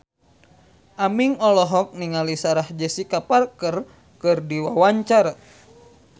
Aming olohok ningali Sarah Jessica Parker keur diwawancara